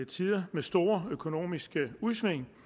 tider med store økonomiske udsving